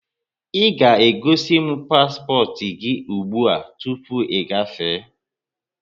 Ị ga-egosimu paspọtụ gị ụgbụa tụpụ ị gafee!